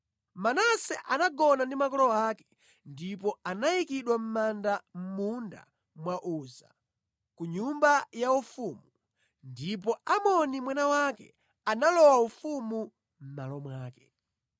Manase anagona ndi makolo ake ndipo anayikidwa mʼmanda mʼmunda wa Uza, ku nyumba yaufumu. Ndipo Amoni mwana wake analowa ufumu mʼmalo mwake.